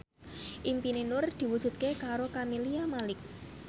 impine Nur diwujudke karo Camelia Malik